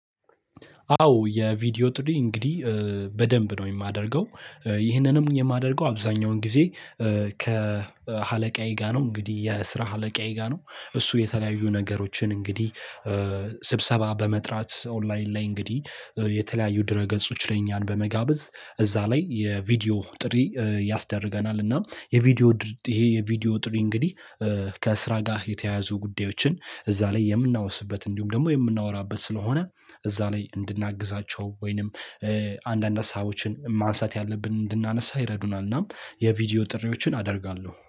አዎ የቪዲዮ ጥሪ እንግዲህ በደንብ ነው የማደርገው። ይህንንም የማደርገው አብዛኛውን ጊዜ። ከአለቃዬ ጋር ነው እንግዲህ የስራ አለቃዬ ጋር ነው። እሱ የተለያዩ ነገሮችን እንግዲህ ስብሰባ በመጥራት ኦላይን ላይ እንግዲህ የተለያዩ ድረ ገጾች ላይ እኛን በመጋበዝ እዛ ላይ የቪዲዮ ጥሪ ያስደርገናል። እና ይሄ የቪዲዮ ጥሪ እንግዲህ ከስራ ጋር የተያያዙ ጉዳዮችን እዛ ላይ የምናውስበት እንዲሁም ደግሞ የምናወራበት ስለሆነ እዛ ላይ እንድናግዛቸው ወይንም አንዳንድ ሀሳቦችን ማንሳት ያለብን እንድናነሳ ይረዱናል። እናም የቪዲዮ ጥሪዎችን አደርጋለሁ